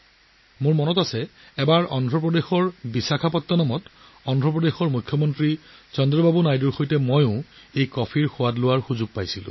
মনত আছে এবাৰ বিশাখাপট্টনমত অন্ধ্ৰ প্ৰদেশৰ মুখ্যমন্ত্ৰী চন্দ্ৰবাবু নাইডুৰ সৈতে এই কফিৰ সোৱাদ লোৱাৰ সুযোগ পাইছিলোঁ